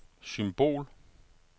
symbol